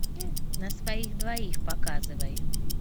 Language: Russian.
на своих двоих показывай